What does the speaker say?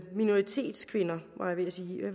minoritetskvinder var jeg ved at sige